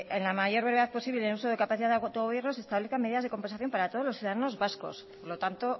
en la mayor brevedad posible en uso de capacidad de autogobierno se establezcan medidas de compensación para todos los ciudadanos vascos por lo tanto